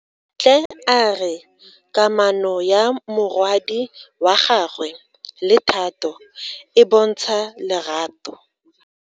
Bontle a re kamano ya morwadi wa gagwe le Thato e bontsha lerato.